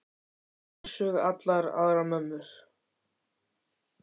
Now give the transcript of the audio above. Hún er einsog allar aðrar mömmur.